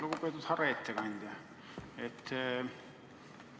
Lugupeetud härra ettekandja!